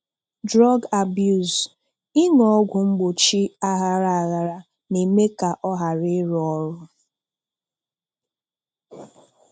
Drug abuse: Ịṅụ ọgwụ mgbochi aghara aghara na-eme ka ọ ghara ịrụ ọrụ